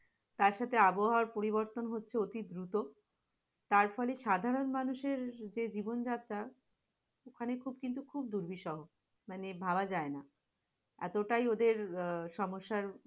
তার সাথে আবহাওয়ার পরিবর্তন হচ্ছে অতিদ্রুত, তার ফলে সাধারণ মানুষের যে জীবনযাত্রা ওখানে খুব কিন্তু খুব দুর্বিষহ মানে ভাবা যায় না, এতটাই ওদের সমস্যার